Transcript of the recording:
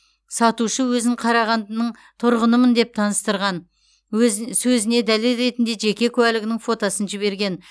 сатушы өзін қарағандының тұрғынымын деп таныстырған сөзіне дәлел ретінде жеке куәлігінің фотосын жіберген